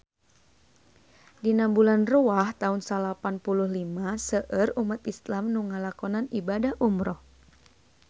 Dina bulan Rewah taun salapan puluh lima seueur umat islam nu ngalakonan ibadah umrah